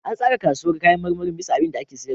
An tsara kasuwar kayan marmarin bisa abinda ake sayarwa.